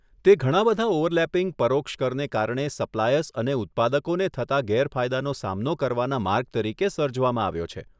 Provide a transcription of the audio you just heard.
તે ઘણા બધા ઓવરલેપિંગ પરોક્ષ કરને કારણે સપ્લાયર્સ અને ઉત્પાદકોને થતા ગેરફાયદાનો સામનો કરવાના માર્ગ તરીકે સર્જવામાં આવ્યો છે.